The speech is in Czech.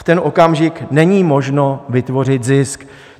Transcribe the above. V ten okamžik není možno vytvořit zisk.